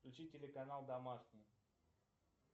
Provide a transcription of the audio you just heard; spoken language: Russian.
включи телеканал домашний